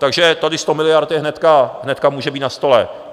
Takže tady 100 miliard je hnedka, hnedka může být na stole.